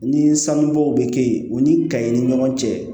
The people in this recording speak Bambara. Ni sanubɔw bɛ kɛ yen o ni ka i ni ɲɔgɔn cɛ